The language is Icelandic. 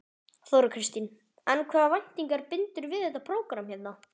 Þóra Kristín: En hvaða væntingar bindurðu við þetta prógramm hérna?